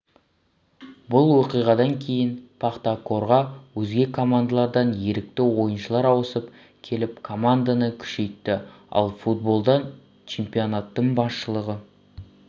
бұл оқиғадан кейін пахтакорға өзге командалардан ерікті ойыншылар ауысып келіп команданы күшейтті ал футболдан чемпионатының басшылығы